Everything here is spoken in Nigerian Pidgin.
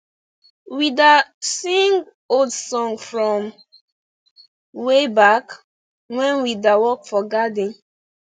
we da sing old song from wayback when we da work for garden